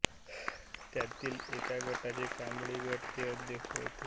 त्यातील एका गटाचे कांबळे गट ते अध्यक्ष होते